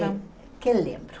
O que eu lembro?